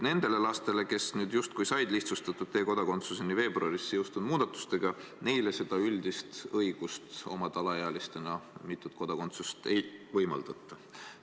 Nendele lastele, kes justkui said lihtsustatud korras kodakondsuse veebruaris jõustunud muudatustega, seda üldist õigust omada alaealisena mitut kodakondsust ei võimaldata.